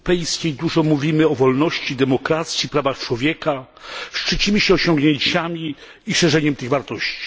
W Unii Europejskiej dużo mówimy o wolności, demokracji, prawach człowieka. Szczycimy się osiągnięciami i szerzeniem tych wartości.